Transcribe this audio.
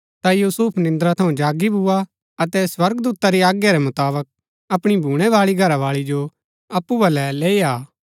ता यूसुफ निन्द्रा थऊँ जागी भुआ अतै स्वर्गदूता री आज्ञा रै मुताबक अपणी भूणैबाळी घरावाळी जो अप्पु बलै लैई आ